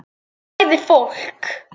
Sagði fólk.